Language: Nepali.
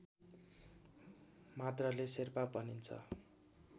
मात्रले शेर्पा भन्छ